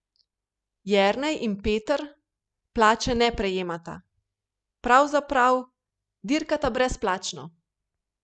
Jernej in Peter plače ne prejemata, pravzaprav dirkata brezplačno.